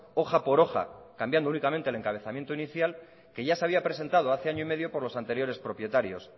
hoja por hoja cambiando únicamente el encabezamiento inicial que ya se había presentado hace año y medio por los anteriores propietarios